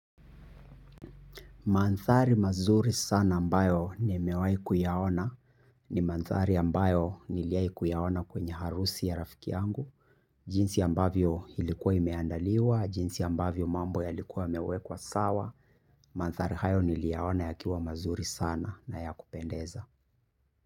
Manthari mazuri sana ambayo nimewai kuyaona ni manthari ambayo niliwai kuyaona kwenye harusi ya rafiki angu. Jinsi ambavyo ilikuwa imeandaliwa, jinsi ambavyo mambo yalikuwa yamewekwa sawa. Manthari hayo niliyaona yakiwa mazuri sana na ya kupendeza.